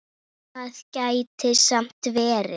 Það gæti samt verið.